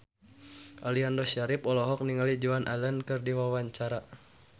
Aliando Syarif olohok ningali Joan Allen keur diwawancara